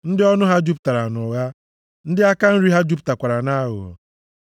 ndị ọnụ ha jupụtara nʼụgha, ndị aka nri ha jupụtakwara nʼaghụghọ.